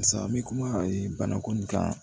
Barisa n bɛ kuma ko nin kan